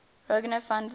rogier van der